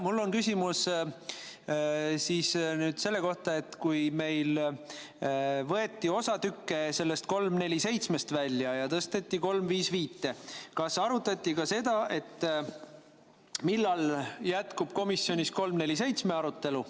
Mul on küsimus selle kohta, et kui meil võeti osa tükke eelnõust 347 välja ja tõsteti ümber eelnõusse 355, siis kas arutati ka seda, millal jätkub komisjonis eelnõu 347 arutelu.